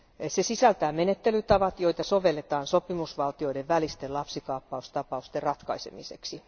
Se sisältää menettelytavat, joita sovelletaan sopimusvaltioiden välisten lapsikaappaustapausten ratkaisemiseksi.